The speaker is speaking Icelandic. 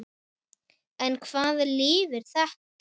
En hvaða lyf er þetta?